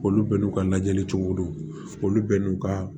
Olu bɛɛ n'u ka lajɛli cogo do olu bɛ n'u ka